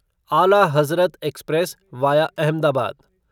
आला Hazrat express via Ahmedabad